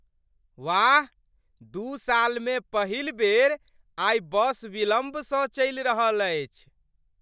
वाह, दू सालमे पहिल बेर आइ बस विलम्बसँ चलि रहल अछि।